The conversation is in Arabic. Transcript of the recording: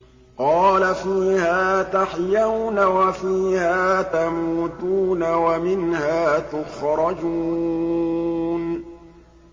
قَالَ فِيهَا تَحْيَوْنَ وَفِيهَا تَمُوتُونَ وَمِنْهَا تُخْرَجُونَ